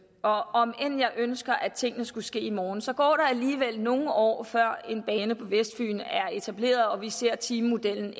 og om end jeg ønsker at tingene skulle ske i morgen så går der alligevel nogle år før en bane på vestfyn er etableret og vi ser timemodellen